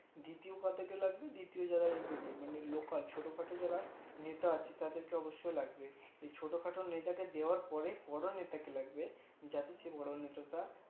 দ্বিতীয় কাদের কে লাগবে দ্বিতীয় যারা MLA মানে লোকাল ছোট খাটো যারা নেতা আছে তাদের কে অবশ্যয় লাগবে ছোট খাটো নেতা কে দেওয়ার পরে বড়ো নেতা কে লাগবে যাতে বড়ো নেতা তা